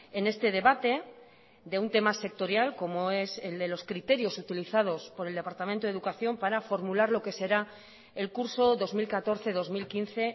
en este debate de un tema sectorial como es el de los criterios utilizados por el departamento de educación para formular lo que será el curso dos mil catorce dos mil quince